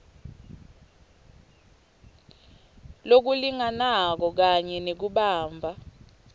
lokulinganako kanye nekubamba